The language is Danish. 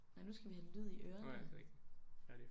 Nej nu skal vi have lyd i ørerne